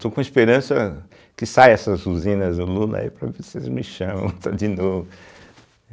estou com esperança que saia essas usinas do Lula aí para ver se eles me chamam de novo.